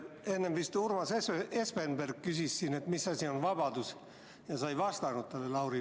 Enne vist Urmas Espenberg küsis, et mis asi on vabadus, ja sa ei vastanud talle.